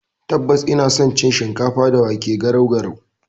Tabbas, ina san cin shikafa da wake (garau garau).